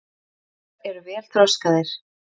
Eyruggar eru vel þroskaðir.